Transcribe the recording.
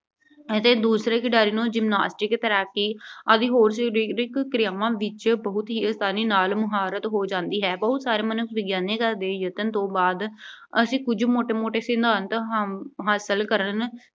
ਅਤੇ ਦੂਸਰੇ ਖਿਡਾਰੀ ਨੂੰ Gymnastics ਕਰ ਕੇ ਅਤੇ ਹੋਰ ਸਰੀਰਕ ਕਿਰਿਆਵਾਂ ਵਿੱਚ ਬਹੁਤ ਹੀ ਆਸਾਨੀ ਨਾਲ ਮੁਹਾਰਤ ਹੋ ਜਾਂਦੀ ਹੈ। ਬਹੁਤ ਸਾਰੇ ਦੇ ਯਤਨ ਤੋਂ ਬਾਅਦ ਅਸੀਂ ਕੁਝ ਮੋਟੇ-ਮੋਟੇ ਸਿਧਾਂਤ ਹਾ ਅਮ ਹਾਸਲ ਕਰਨ